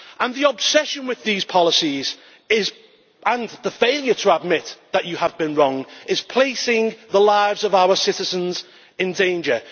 The obsession with these policies, and the failure to admit that you have been wrong, are placing the lives of our citizens in danger.